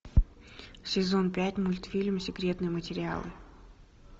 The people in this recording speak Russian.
сезон пять мультфильм секретные материалы